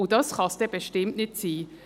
Und das kann es ja nun nicht sein.